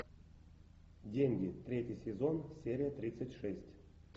деньги третий сезон серия тридцать шесть